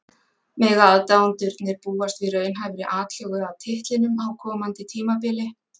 Mega aðdáendurnir búast við raunhæfri atlögu að titlinum á komandi tímabili?